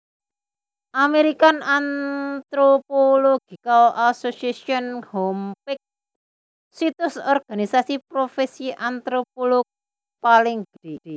American Anthropological Association Homepage Situs organisasi profèsi antropolog paling gedhé